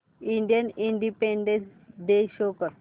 Indian independence day show कर